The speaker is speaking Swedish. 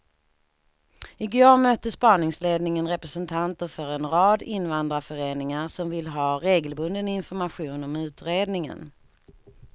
I går mötte spaningsledningen representanter för en rad invandrarföreningar som vill ha regelbunden information om utredningen.